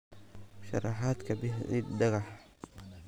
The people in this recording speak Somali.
sharaxaad ka bixi ciid dhagax